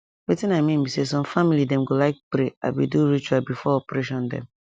wetin i mean be say some family dem go like pray abi do ritual before operation dem